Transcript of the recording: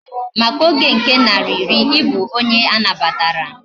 Maka Oge nke nari iri, ibu onye anabatara